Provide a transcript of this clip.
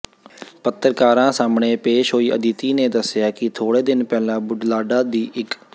ਪੱਤਰਕਾਰਾਂ ਸਾਹਮਣੇ ਪੇਸ਼ ਹੋਈ ਆਦਿਤੀ ਨੇ ਦੱਸਿਆ ਕਿ ਥੋੜੇ ਦਿਨ ਪਹਿਲਾਂ ਬੁਢਲਾਡਾ ਦੀ ਇੱ